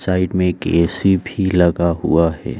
Side में एक AC. भी लगा हुआ है।